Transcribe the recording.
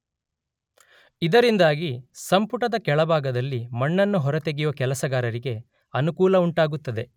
ಇದರಿಂದಾಗಿ ಸಂಪುಟದ ಕೆಳಭಾಗದಲ್ಲಿ ಮಣ್ಣನ್ನು ಹೊರತೆಗೆಯುವ ಕೆಲಸಗಾರರಿಗೆ ಅನುಕೂಲವುಂಟಾಗುತ್ತದೆ.